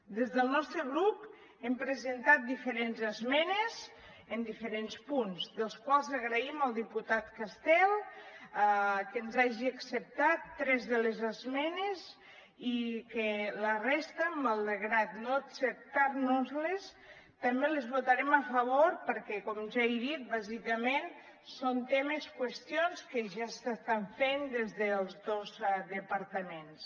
des del nostre grup hem presentat diferents esmenes en diferents punts dels quals agraïm al diputat castel que ens hagi acceptat tres de les esmenes i que la resta malgrat no acceptar nos les també les votarem a favor perquè com ja he dit bàsicament són temes qüestions que ja s’estan fent des dels dos departaments